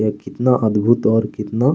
और कितना अद्भुत और कितना --